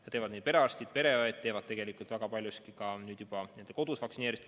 Seda teevad perearstid-pereõed, kes kasutavad väga palju nüüd juba kodus vaktsineerimist.